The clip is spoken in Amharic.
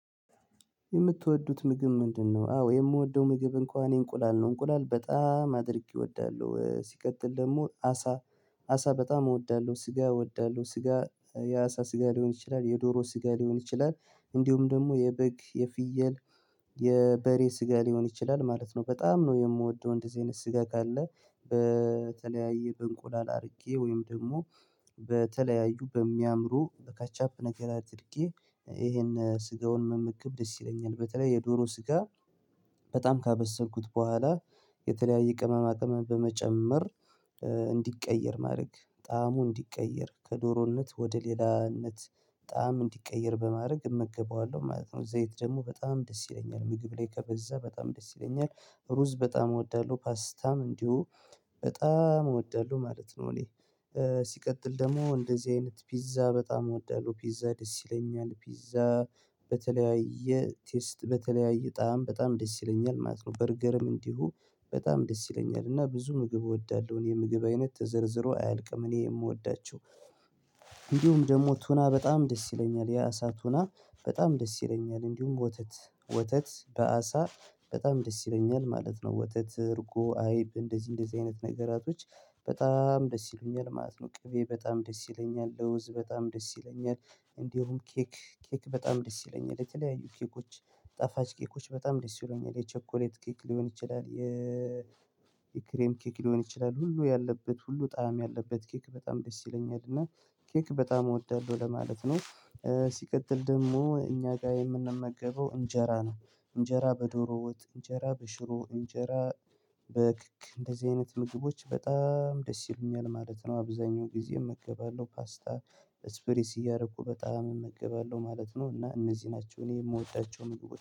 የምትወዱት ምግብ ምንድነው? አዎ የምወደው ምግብ እንኳን እኔ እንቁላል ነው እንቁላል በጣም አድርጌ እወዳለሁ ሲቀጥል ደግሞ አሳ አሳ በጣም እወዳለሁ ስጋ እወዳለሁ ስጋ የአሳ ስጋ ሊሆን ይችላል የዶሮ ስጋ ሊሆን ይችላል እንዲሁም ደግሞ የበግ የፍየል የበሬ ስጋ ሊሆን ይችላል ማለት ነው። በጣም ነው የምወደው እንደዚህ አይነት ስጋ ካለ በተለያየ በእንቁላል አድርጌ ወይም ደግሞ በተለያዩ በሚያምሩ ከቻፕ ነገር አድርጌ ይሄን ስጋውን መመገብ ደስ ይለኛል። በተለይ የዶሮ ስጋ በጣም ካበሰልኩት በኋላ የተለያየ ቅመማ ቅመም በመጨመር እንዲቀየር ማድረግ ጣዕሙ እንዲቀየር ከዶሮነት ወደ ሌላነት ጣዕም እንዲቀየር በማድረግ እመገበዋለሁ ማለት ነው። እዘይት ደግሞ በጣም ደስ ይለኛል ምግብ ላይ ከበዛ በጣም ደስ ይለኛል። ሩዝ በጣም እወዳለሁ ፓስታም እንዲሁ በጣም እወዳለሁ ማለት ነው። እኔ። ሲቀጥል ደግሞ እንደዚህ አይነት ፒዛ በጣም እወዳለሁ ፒዛ ደስ ይለኛል ፒዛ በተለያየ ቴስት በተለያየ ጣዕም በጣም ደስ ይለኛል ማለት ነው። በርገርም እንዲሁ በጣም ደስ ይለኛል እና ብዙ ምግብ እወዳለሁ የምግብ አይነት ተዘርዝሮ አያልቅም። እኔ የምወዳቸው እንዲሁም ደግሞ ቱና በጣም ደስ ይለኛል። የአሳ ቱና በጣም ደስ ይለኛል። እንዲሁም ወተት ወተት በአሳ በጣም ደስ ይለኛል ማለት ነው። ወተት እርጎ አይብ እንደዚህ እንደዚህ አይነት ነገራቶች በጣም ደስ ይሉኛል ማለት ነው። ቅቤ በጣም ደስ ይለኛል። ለውዝ በጣም ደስ ይለኛል። እንደውም ኬክ ኬክ በጣም ደስ ይለኛል። የተለያዩ ኬኮች ጣፋጭ ኬኮች በጣም ደስ ይለኛል። የቸኮሌት ኬክ ሊሆን ይችላል የ የክሬም ኬክ ሊሆን ይችላል ሁሉ ያለበት ሁሉ ጣዕም ያለበት ኬክ በጣም ደስ ይለኛል። እና ኬክ በጣም እወዳለሁ ለማለት ነው። ሲቀጥል ደግሞ እኛ ጋር የምንመገበው እንጀራ ነው። እንጀራ በዶሮ ወጥ እንጀራ በሽሮ ወጥ እንጀራ በክክ እንደዚህ አይነት ምግቦች በጣም ደስ ይሉኛል ማለት ነው። አብዛኛው ጊዜ እመገባለሁ ፓስታ ስፕሪስ እያደረኩ በጣም እመገባለሁ ማለት ነው። እና እነዚህ ናቸው እኔ የምወዳቸው ምግቦች